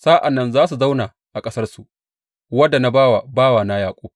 Sa’an nan za su zauna a ƙasarsu, wadda na ba wa bawana Yaƙub.